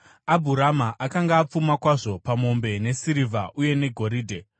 Abhurama akanga apfuma kwazvo pamombe nesirivha uye negoridhe.